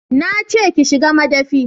Na ce ki shiga madafi